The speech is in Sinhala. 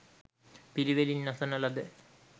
පිළිවෙළින් අසන ලද